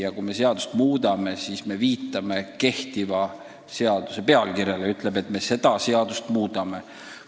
Ja kui me mingit seadust muuta soovime, siis me viitame kehtiva seaduse pealkirjale: me ütleme, et seda seadust me tahame muuta.